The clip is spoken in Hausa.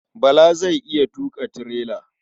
Bala zai iya tuƙa tirela.